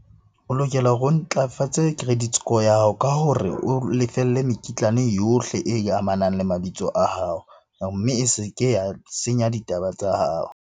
O lokela hore o ntlafatse credit score ya hao ka hore o lefelle mekitlane yohle e amanang le mabitso a hao. Mme e se ke ya senya ditaba tsa hao.